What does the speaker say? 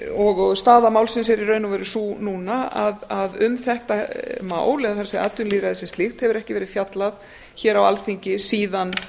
og staða málsins er í raun og veru sú núna að um þetta mál eða það er atvinnulýðræði sem slíkt hefur ekki verið fjallað hér á alþingi síðan